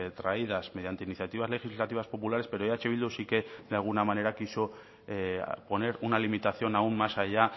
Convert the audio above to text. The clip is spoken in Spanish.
traídas mediante iniciativas legislativas populares pero eh bildu sí que de alguna manera quiso poner una limitación aún más allá